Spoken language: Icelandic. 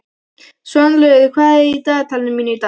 Svanlaugur, hvað er í dagatalinu mínu í dag?